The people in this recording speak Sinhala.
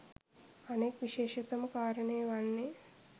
අනෙක් විශේෂතම කාරණය වන්නේ